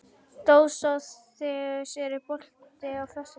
Dósóþeus, er bolti á föstudaginn?